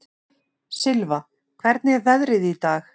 Silfa, hvernig er veðrið í dag?